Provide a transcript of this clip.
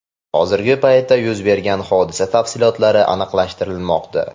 Hozirgi paytda yuz bergan hodisa tafsilotlari aniqlashtirilmoqda.